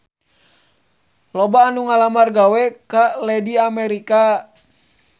Loba anu ngalamar gawe ka Lady America